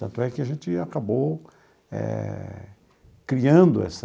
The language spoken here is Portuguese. Tanto é que a gente acabou eh criando essa...